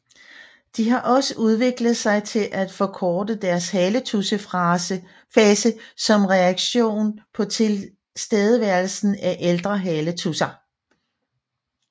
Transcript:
De har også udviklet sig til at forkorte deres haletudsefase som reaktion på tilstedeværelsen af ældre haletudser